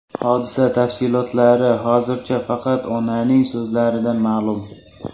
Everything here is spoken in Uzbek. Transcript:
Hodisa tafsilotlari hozircha faqat onaning so‘zlaridan ma’lum.